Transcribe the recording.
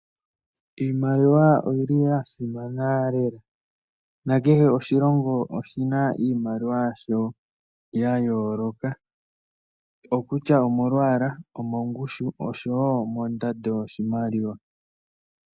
Iimaliwa oyi li ya simana lela. Nakehe oshilongo oshi na iimaliwa yasho ya yooloka, okutya omolwaala, omongushu osho wo mondando yoshimaliwa.